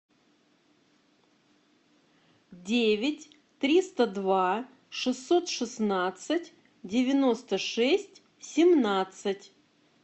девять триста два шестьсот шестнадцать девяносто шесть семнадцать